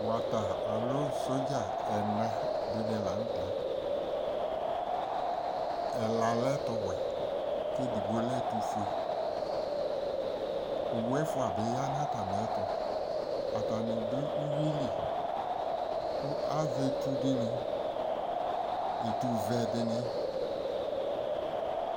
wata alo sodza ɛna di ni lantɛ ɛla lɛ ɛto wɛ ko edigbo lɛ ɛto fue owu ɛfoa bi ya no atamiɛto atani do uwi li ko azɛ etu di ni etu vɛ di ni